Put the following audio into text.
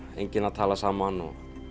enginn að tala saman